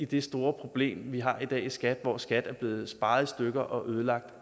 det store problem vi har i dag i skat hvor skat er blevet sparet i stykker og ødelagt